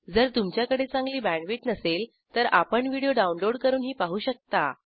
जर तुमच्याकडे चांगली बॅण्डविड्थ नसेल तर आपण व्हिडिओ डाउनलोड करूनही पाहू शकता